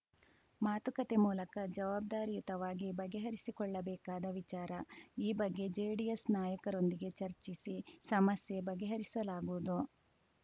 ಮಾತುಕತೆ ಮೂಲಕ ಜವಾಬ್ದಾರಿಯುತವಾಗಿ ಬಗೆಹರಿಸಿಕೊಳ್ಳಬೇಕಾದ ವಿಚಾರ ಈ ಬಗ್ಗೆ ಜೆಡಿಎಸ್‌ ನಾಯಕರೊಂದಿಗೆ ಚರ್ಚಿಸಿ ಸಮಸ್ಯೆ ಬಗೆಹರಿಸಲಾಗುವುದು